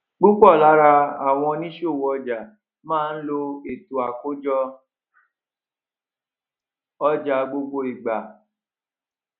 púpò lára àwọn oníṣòwò ọjà má ń lo ètò àkójọ ọjà gbogbo ìgbà